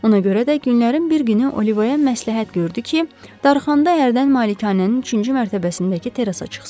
Ona görə də günlərin bir günü Olivaya məsləhət gördü ki, darıxanda hərdən malikanənin üçüncü mərtəbəsindəki terrasa çıxsın.